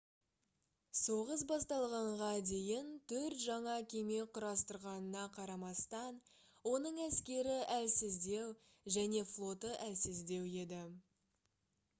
соғыс басталғанға дейін төрт жаңа кеме құрастырғанына қарамастан оның әскері әлсіздеу және флоты әлсіздеу еді